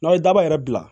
N'aw ye daba yɛrɛ bila